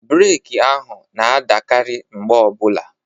Breeki ahụ na-adakarị mgbe ọbula.